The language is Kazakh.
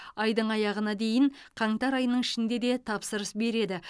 айдың аяғына дейін қаңтар айының ішінде де тапсыра береді